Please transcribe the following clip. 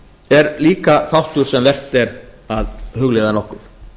er líka þáttur sem vert er að hugleiða nokkuð